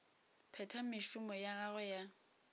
phetha mešomo ya gagwe ya